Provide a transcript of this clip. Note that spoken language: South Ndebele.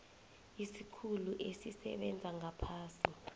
isikhulu esisebenza ngaphasi